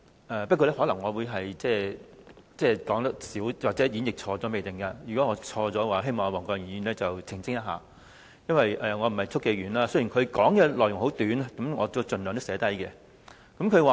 我可能只會引述小部分，或會演繹錯誤，如果我說錯，希望黃國健議員可以澄清，因為我不是速記員，雖然他的發言內容很短，但我已盡量記錄下來。